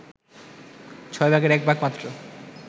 ছয় ভাগের এক ভাগ মাত্র